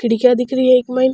खिड़किया दिख रही है इक माइन।